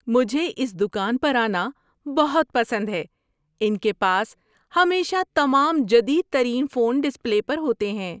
مجھے اس دکان پر آنا بہت پسند ہے۔ ان کے پاس ہمیشہ تمام جدید ترین فون ڈسپلے پر ہوتے ہیں۔